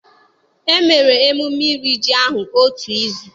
E mere emume iri ji ahụ otu izu.